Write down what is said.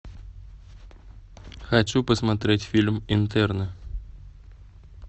хочу посмотреть фильм интерны